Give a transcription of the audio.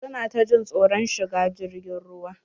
Su na ta jin tsoron shigar jirgin ruwa.